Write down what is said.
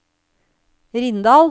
Rindal